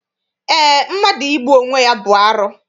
Eé, mmadụ igbu onwe ya bụ arụ.